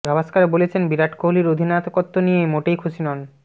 গাভাসকর বলেছেন বিরাট কোহলির অধিনায়কত্ব নিয়ে মোটেই খুশি নন